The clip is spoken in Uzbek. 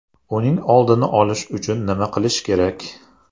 Uning oldini olish uchun nima qilish kerak?